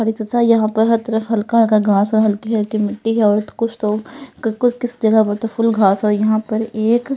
अरे चचा यहाँ पर हर तरफ हल्का हल्का घास है हलकी हलकी मिट्टी है और तो कुछ तो कूछ किस जगह पर तो फुल घास है और यहाँ पर एक --